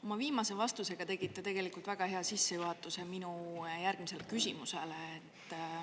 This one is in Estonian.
Oma viimase vastusega tegite te tegelikult väga hea sissejuhatuse minu järgmisele küsimusele.